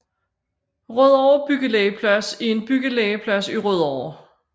Rødovre Byggelegeplads er en byggelegeplads i Rødovre